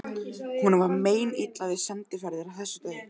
Honum var meinilla við sendiferðir af þessu tagi.